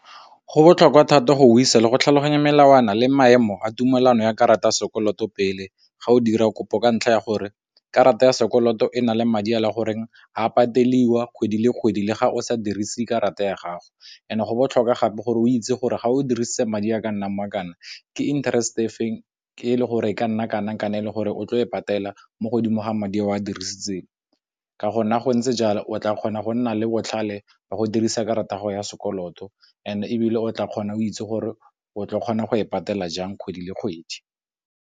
Go botlhokwa thata go isa le go tlhaloganya melawana le maemo a tumelano ya karata ya sekoloto pele ga o dira kopo ka ntlha ya gore karata ya sekoloto e na le madi a le goreng a pateliwa kgwedi le kgwedi le ga o sa dirise karata ya gago, ene go botlhoka gape gore o itse gore ga o dirisitse madi a ka nnang kwa kana ke interest efeng ke le gore e ka nna e le gore o tlo e patela mo godimo ga madi a o a dirisitseng ka go nna go ntse jalo, o tla kgona go nna le botlhale ba go dirisa karata ya sekoloto and ebile o tla kgona o itse gore o tle o kgona go e patela jang kgwedi le kgwedi.